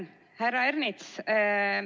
Härra Ernits!